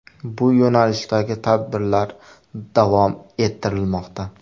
Bu yo‘nalishdagi tadbirlar davom ettirilmoqda.